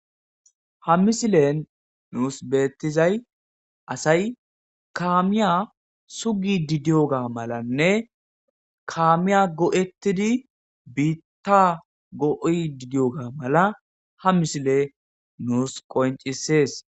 ha misilen nuus beettizay asay kaamiya sugi didiyoga malanne kaamiya go7ettidi biitta go7oi didiyoga mala ha misile nuus qoncisees